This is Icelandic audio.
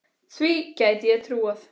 Því gæti ég trúað